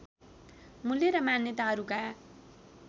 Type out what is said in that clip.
मूल्य र मान्यताहरूका